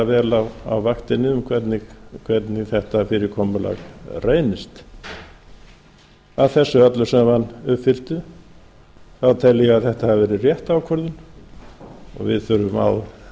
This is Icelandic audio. vel á vaktinni um hvernig þetta fyrirkomulag reynist að þessu öllu saman uppfylltu þá tel ég að þetta hafi verið rétt ákvörðun og við þurfum á